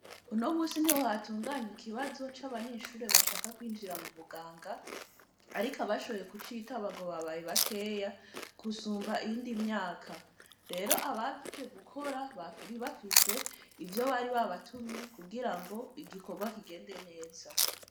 Uno munsi, niho hatunganywa ikibazo, c'abanyeshure, bashaka kwinjira mu buganga, ariko, abashoboye kucitaba, ngo babaye bakeya, gusumba iyindi myaka; rero abaje gukora, bari bafise, ivyo baribabatumye, kugira ngo, igikorwa kigende neza.